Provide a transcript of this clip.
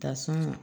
Ta sɔn ka